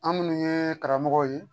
An minnu ye karamɔgɔw ye